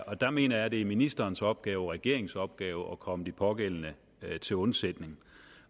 og der mener jeg det er ministerens opgave og regeringens opgave at komme de pågældende til undsætning